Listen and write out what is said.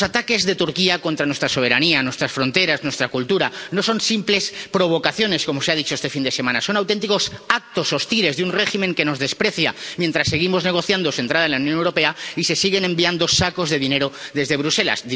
Los ataques de Turquía contra nuestra soberanía, nuestras fronteras, nuestra cultura, no son simples provocaciones, como se ha dicho este fin de semana, son auténticos actos hostiles de un régimen que nos desprecia, mientras seguimos negociando su entrada en la Unión Europea y se siguen enviando sacos de dinero desde Bruselas